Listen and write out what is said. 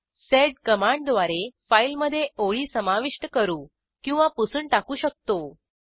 sed कमांडद्वारे फाईलमधे ओळी समाविष्ट करू किंवा पुसून टाकू शकतो